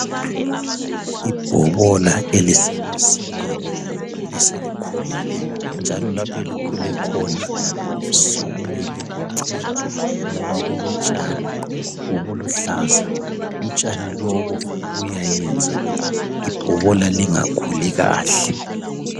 Ibhobola elisemasimini, eselikhulile njalo lapho elikhule khona sokumele kucentwe ngoba kulotshani obuluhlaza .Utshani lobu buyayenza ibhobola lingakhuli kahle.